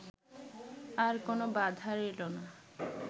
আর কোন বাধা রইল না